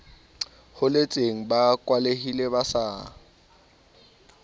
holetseng ba kwalehile ba sa